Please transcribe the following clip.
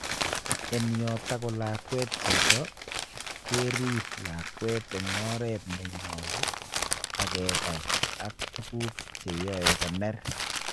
En yon takolakwet chito kerip lakwet en oret ne nyolu ak kepai ak tuguk cheyoe koner.